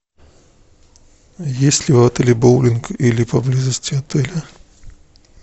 есть ли в отеле боулинг или поблизости отеля